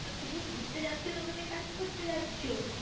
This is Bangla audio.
তো তুমি ঘুরতে যাচ্ছো না ওখানে কাজ করতে যাচ্ছো?